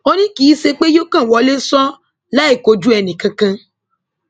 ó ní kì í ṣe pé yóò kàn wọlé ṣọọ láìkojú ẹnìkan kan